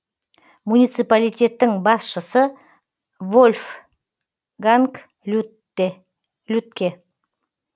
муниципалитеттің басшысы вольфганг людтке